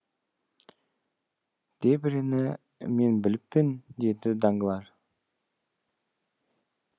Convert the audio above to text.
дебрэні мен біліппін деді данглар